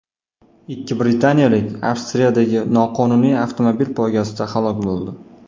Ikki britaniyalik Avstriyadagi noqonuniy avtomobil poygasida halok bo‘ldi.